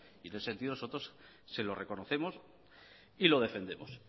y en ese sentido nosotros se lo reconocemos y lo defendemos